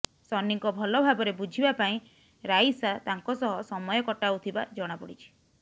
ସନ୍ନିଙ୍କ ଭଲ ଭାବରେ ବୁଝିବା ପାଇଁ ରାଇସା ତାଙ୍କ ସହ ସମୟ କଟାଉଥିବା ଜଣାପଡ଼ିଛି